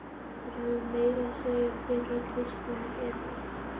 Þeir höfðu meira að segja tekið Kristínu Evu!